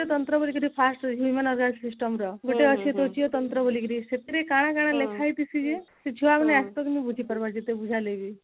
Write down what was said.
ତନ୍ତ୍ର ବୋଲିକରି first ରହିଛି human organ system ର ଗୋଟେ ଅଛି କୋଷିୟ ତନ୍ତ୍ର ବୋଲିକିରି ସେଥିରେ କାଣ କାଣ ଲେଖା ହେଇଛି ସିଏ ସେ ଛୁଆ ମାନେ ଏତ ପର୍ଯ୍ୟନ୍ତ ବୁଝପାରବା ନା ଯେତେ ବୁଝାଇଲେ ବି